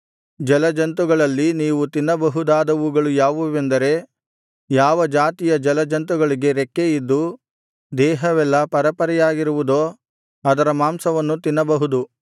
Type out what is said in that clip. ಜಲಜಂತುಗಳಲ್ಲಿ ನೀವು ತಿನ್ನಬಹುದಾದವುಗಳು ಯಾವುವೆಂದರೆ ಯಾವ ಜಾತಿಯ ಜಲಜಂತುಗಳಿಗೆ ರೆಕ್ಕೆ ಇದ್ದು ದೇಹವೆಲ್ಲಾ ಪರೆಪರೆಯಾಗಿರುವುದೋ ಅದರ ಮಾಂಸವನ್ನು ತಿನ್ನಬಹುದು